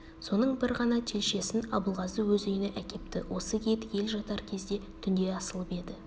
соның бір ғана телшесін абылғазы өз үйіне әкепті осы ет ел жатар кезде түнде асылып еді